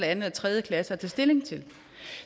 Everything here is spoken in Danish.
anden eller tredje klasse at tage stilling til